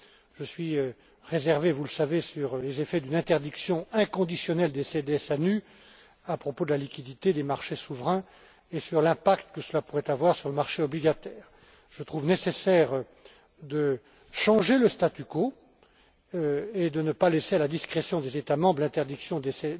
Je suis réservé, vous le savez, sur les effets d'une interdiction inconditionnelle des CDS à nu à propos de la liquidité des marchés souverains et sur l'impact que cela pourrait avoir sur le marché obligataire. Je trouve nécessaire de changer le statu quo et de ne pas laisser à la discrétion des États membres l'interdiction des